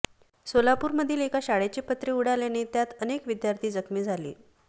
सोलापूरमधील एका शाळेचे पत्रे उडाल्याने त्यात अनेक विद्यार्थी जखमी झाले